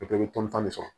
O bɛɛ bɛ tɔni tan de sɔrɔ